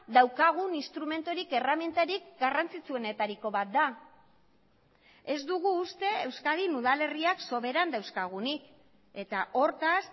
daukagun instrumenturik erremintarik garrantzitsuenetariko bat da ez dugu uste euskadin udal herriak soberan dauzkagunik eta hortaz